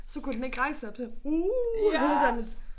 Så kunne den ikke rejse sig op så uh og så sådan lidt